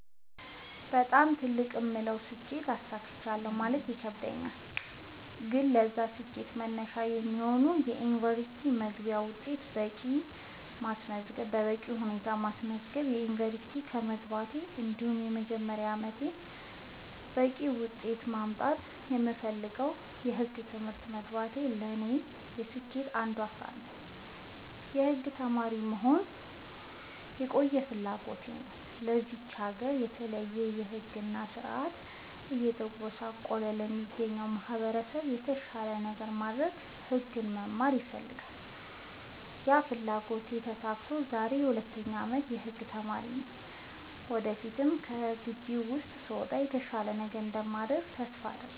በጣም ትልቅ የምለውን ስኬት አሳክቻለሁ ማለት ይከብደኛል። ግን ለዛ ስኬት መነሻ የሚሆነኝን የ ዩኒቨርስቲ መግቢያ ውጤት በቂ በማስመዝገብ ዩንቨርስቲ መግባቴ እንዲሁም የመጀመሪያ አመቴን በቂ ውጤት በማምጣት የምፈልገውን የህግ ትምህርት መግባቴ ለኔ የስኬቴ አንዱ አካል ነው። የህግ ተማሪ መሆን የቆየ ፍላጎቴ ነው ለዚች ሀገር በተለይ በህግ እና በስርዓቱ እየተጎሳቆለ ለሚገኘው ማህበረሰብ የተሻለ ነገር ለማድረግ ህግ መማር እፈልግ ነበር ያ ፍላጎቴ ተሳክቶ ዛሬ የ 2ኛ አመት የህግ ተማሪ ነኝ ወደፊት ከግቢ ስወጣ የተሻለ ነገር እንደማደርግ ተስፋ አድርጋለሁ።